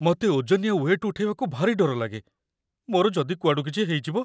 ମତେ ଓଜନିଆ ୱେଟ୍ ଉଠେଇବାକୁ ଭାରି ଡର ଲାଗେ । ମୋର ଯଦି କୁଆଡ଼ୁ କିଛି ହେଇଯିବ?